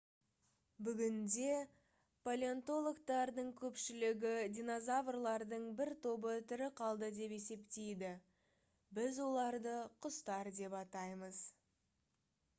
бүгінде палеонтологтардың көпшілігі динозаврлардың бір тобы тірі қалды деп есептейді біз оларды құстар деп атаймыз